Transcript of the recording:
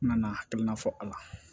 N nana hakilina fɔ a la